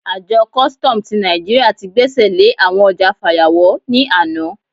Àjọ kùstọ̀m ti Naijiria ti gbẹ́sẹ̀ lé àwọn ọjà fàyàwọ́ ní àná.